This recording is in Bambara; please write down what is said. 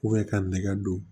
ka nɛgɛ don